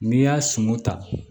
N'i y'a sunu ta